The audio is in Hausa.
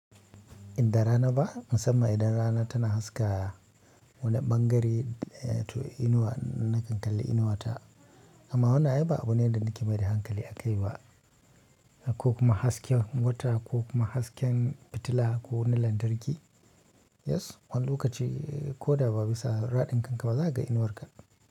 Inda rana ba, musamman idan rana tana haska wani ɓangare to inuwa na kankale inuwata. Amma huna ai ba abu ne da nake mai da hankali a kai wa ko kuma hasken wata ko kuma hasken fitila ko wani lantarki. Yes, wani lokaci ko da ba bisa raɗin kanka ba za ka ga inuwarka.